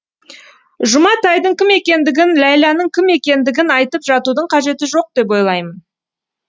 жұматайдың кім екендігін ләйләнің кім екендігін айтып жатудың қажеті жоқ деп ойлаймын